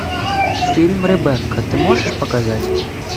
фильм ребекка ты можешь показать